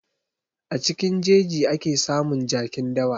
A cikin jeji ake samun jakin dawa.